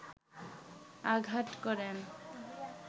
আঘাত করেন